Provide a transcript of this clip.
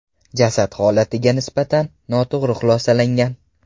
Jasad holatiga nisbatan noto‘g‘ri xulosalangan.